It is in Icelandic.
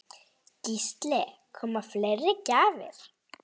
Gísli: Koma fleiri gjafir?